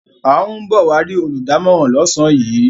A ń bọ̀ wá rí olùdámọ̀ràn lọ́sàn-án yìí.